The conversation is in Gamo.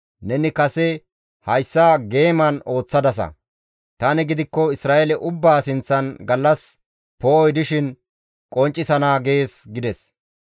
Neni kase hayssa geeman ooththadasa; tani gidikko Isra7eele ubbaa sinththan gallas poo7oy dishin qonccisana› gees» gides.